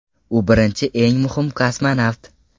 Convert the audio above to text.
U birinchi eng muhim kosmonavt.